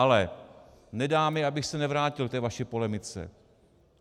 Ale nedá mi, abych se nevrátil k té vaší polemice.